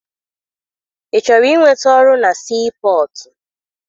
Ị chọrọ inweta ọrụ na sii pọtụ?